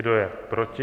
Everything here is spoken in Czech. Kdo je proti?